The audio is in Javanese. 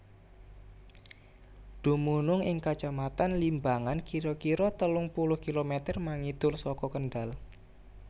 Dumunung ing Kacamatan Limbangan kira kira telung puluh kilometer mangidul saka Kendal